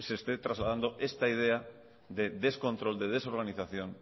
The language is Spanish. se esté trasladando esta idea de descontrol de desorganización